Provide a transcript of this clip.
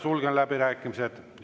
Sulgen läbirääkimised.